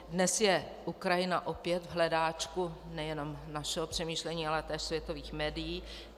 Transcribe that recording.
Dnes je Ukrajina opět v hledáčku nejenom našeho přemýšlení, ale též světových médií.